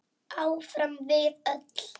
Áfram við öll.